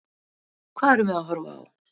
Hvað erum við að horfa á?